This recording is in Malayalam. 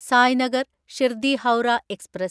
സായ്നഗർ ഷിർദി ഹൗറ എക്സ്പ്രസ്